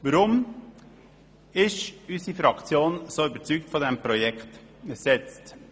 Warum ist unsere Fraktion von dem Projekt so überzeugt?